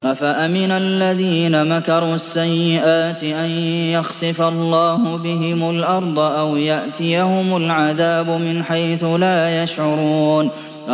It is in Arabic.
أَفَأَمِنَ الَّذِينَ مَكَرُوا السَّيِّئَاتِ أَن يَخْسِفَ اللَّهُ بِهِمُ الْأَرْضَ أَوْ يَأْتِيَهُمُ الْعَذَابُ مِنْ حَيْثُ لَا يَشْعُرُونَ